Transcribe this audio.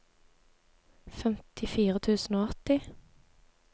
femtifire tusen og åtti